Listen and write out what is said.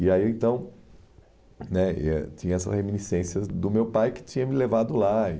E aí, então né, e eh tinha essa reminiscência do meu pai que tinha me levado lá. E